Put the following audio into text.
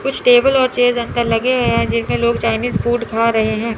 कुछ टेबल और चेयर अंदर लगे हैं जिनमें चाइनीस फूड खा रहे हैं।